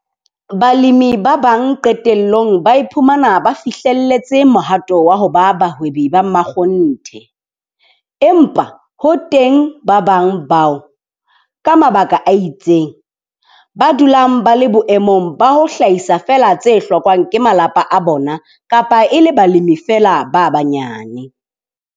Balemi ba bang qetellong ba iphumana ba fihlelletse mohato wa ho ba bahwebi ba makgonthe, empa ho teng ba bang bao, ka mabaka a itseng, ba dulang ba le boemong ba ho hlahisa feela tse hlokwang ke malapa a bona kapa e le balemi feela ba banyane.